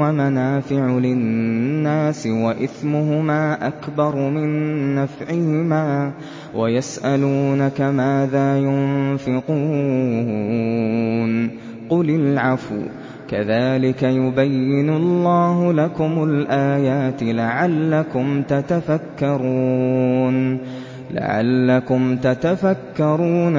وَمَنَافِعُ لِلنَّاسِ وَإِثْمُهُمَا أَكْبَرُ مِن نَّفْعِهِمَا ۗ وَيَسْأَلُونَكَ مَاذَا يُنفِقُونَ قُلِ الْعَفْوَ ۗ كَذَٰلِكَ يُبَيِّنُ اللَّهُ لَكُمُ الْآيَاتِ لَعَلَّكُمْ تَتَفَكَّرُونَ